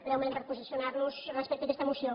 breument per posicionar·nos res·pecte a aquesta moció